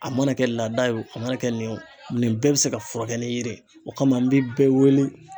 A mana kɛ laada ye o mana kɛ nin bɛɛ bɛ se ka furakɛ ni yiri ye o kama an bɛ bɛɛ wele.